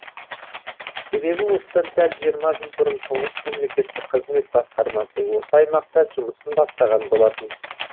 себебі осыдан дәл жиырма жыл бұрын тұңғыш мемлекеттік қызмет басқармасы осы аймақта жұмысын бастаған болатын